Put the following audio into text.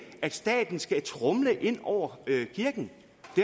at staten skal tromle ind over kirken